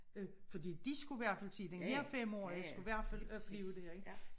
Øh fordi de skulle i hvert fald den dér femårige skulle i hvert fald opleve det ik